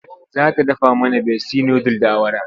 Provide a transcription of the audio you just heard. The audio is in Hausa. Za ta dafa mana Besti nudul da awara.